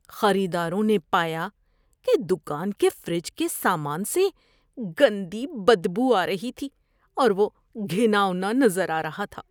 خریداروں نے پایا کہ دکان کے فریج کے سامان سے گندی بدبو آ رہی تھی اور وہ گھناؤنا نظر آ رہا تھا۔